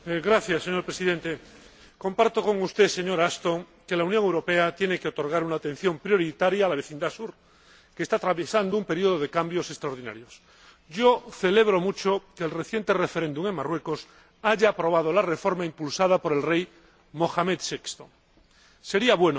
Señor Presidente, señora Ashton, comparto con usted que la Unión Europea tiene que otorgar una atención prioritaria a la vecindad sur, que está atravesando un periodo de cambios extraordinarios. Celebro mucho que el reciente referéndum en Marruecos haya aprobado la reforma impulsada por el rey Mohamed VI. Sería bueno